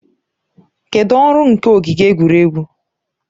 Kedụ ọrụ nke ogige egwuregwu?